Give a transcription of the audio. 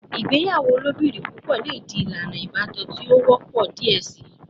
Igbeyawo ilobirin pupọ le di ilana ibatan ti o wọpọ diẹ sii